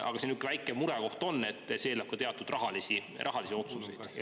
Aga siin on üks väike murekoht: see eeldab ka teatud rahalisi otsuseid.